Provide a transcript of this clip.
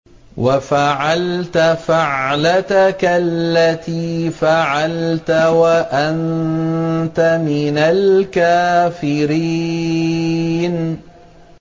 وَفَعَلْتَ فَعْلَتَكَ الَّتِي فَعَلْتَ وَأَنتَ مِنَ الْكَافِرِينَ